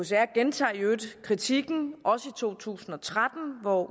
gentager i øvrigt kritikken i to tusind og tretten hvor